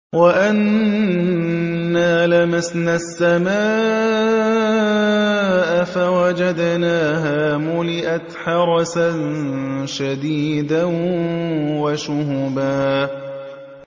وَأَنَّا لَمَسْنَا السَّمَاءَ فَوَجَدْنَاهَا مُلِئَتْ حَرَسًا شَدِيدًا وَشُهُبًا